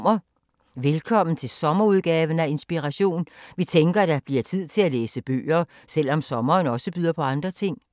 Velkommen til sommerudgaven af Inspiration. Vi tænker, at der bliver tid til at læse bøger, selvom sommeren også byder på andre ting.